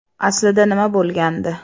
Aslida nima bo‘lgandi?